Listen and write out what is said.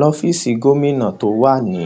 lọfíìsì gómìnà tó wà ní